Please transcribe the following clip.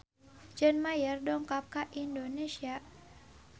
John Mayer dongkap ka Indonesia